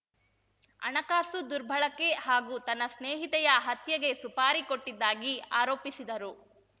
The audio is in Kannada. ಹಣಕಾಸು ದುರ್ಬಳಕೆ ಹಾಗೂ ತನ್ನ ಸ್ನೇಹಿತೆಯ ಹತ್ಯೆಗೆ ಸುಪಾರಿ ಕೊಟ್ಟಿದ್ದಾಗಿ ಆರೋಪಿಸಿದರು